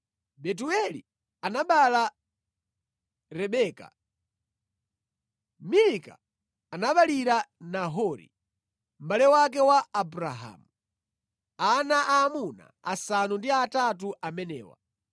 Betueli anabereka Rebeka. Milika anaberekera Nahori, mʼbale wake wa Abrahamu, ana aamuna asanu ndi atatu amenewa.